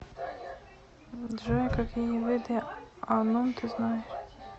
джой какие виды анум ты знаешь